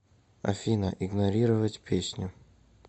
афина игнорировать песню